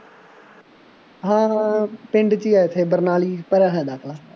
ਹਾਂ ਹਾਂ ਪਿੰਡ ਚ ਆ ਇੱਥੇ ਬਰਨਾਲੀ ਭਰਿਆਂ ਹੋਇਆ ਦਾਖਲਾ